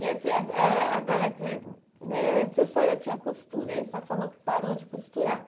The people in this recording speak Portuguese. E assim, ah agora que eh antes a senhora tinha costura, aí a senhora falou que parou de costurar.